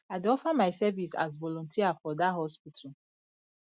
i dey offer my service as volunteer for dat hospital